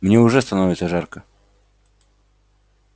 мне уже становится жарко